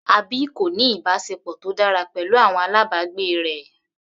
Abby kò ní ìbáṣepọ̀ tó dára pẹ̀lú àwọn alábàgbé rẹ̀.